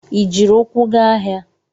Ị jiri ukwu ga ahịa?